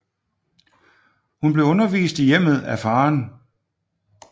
Hun blev undervist i hjemmet af faren